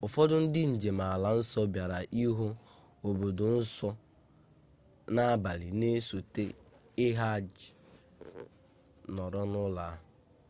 ụfọdụ ndị njem ala nsọ bịara ịhụ obodo nsọ n'abalị na-esote hajj nọrọ n'ụlọ a